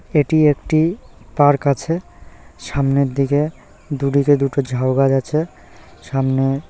এটি একটি পার্ক আছে। সামনের দিকে দুদিকে দুটো ঝাউ গাছ আছে। সামনে --